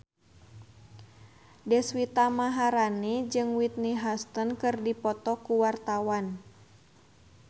Deswita Maharani jeung Whitney Houston keur dipoto ku wartawan